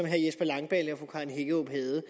herre jesper langballe og fru karen hækkerup havde